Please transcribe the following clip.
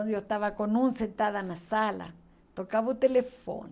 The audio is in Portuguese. eu estava com um sentada na sala, tocava o telefone.